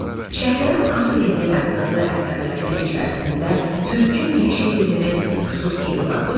Şəhriyarın ana dilində yazdığı əsərlərinin içərisində Türkün dili şeirinin xüsusi yeri vardır.